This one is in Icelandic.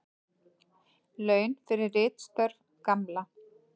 Laun fyrir ritstörf Gamla.